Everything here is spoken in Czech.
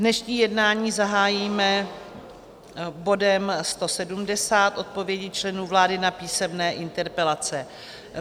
Dnešní jednání zahájíme bodem 170 - odpovědi členů vlády na písemné interpelace.